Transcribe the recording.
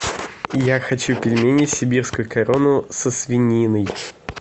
я хочу пельмени сибирскую корону со свининой